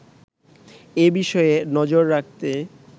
এ বিষয়ে নজর রাখতে